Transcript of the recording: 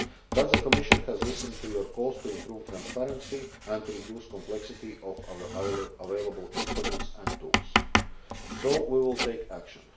But the Commission has listened to your calls to improve transparency and to reduce the complexity of available instruments and tools, so we will take action.